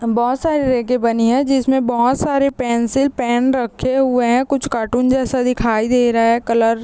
बहोत सारे रैके बनी है जिसमे बहुत सारे पेंसिल पेन रखे हुए हैं कुछ कार्टून जैसा दिखाई दे रहा है कलर --